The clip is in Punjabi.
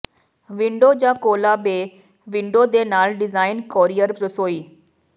ਵਿੰਡੋ ਜਾਂ ਕੋਲਾ ਬੇ ਵਿੰਡੋ ਦੇ ਨਾਲ ਡਿਜ਼ਾਈਨ ਕੋਰੀਅਰ ਰਸੋਈ